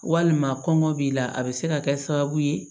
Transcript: Walima kɔngɔ b'i la a bɛ se ka kɛ sababu ye